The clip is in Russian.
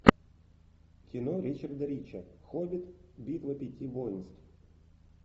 кино ричарда рича хоббит битва пяти воинств